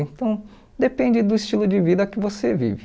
Então, depende do estilo de vida que você vive.